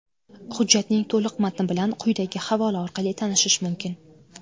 Hujjatning to‘liq matni bilan quyidagi havola orqali tanishish mumkin.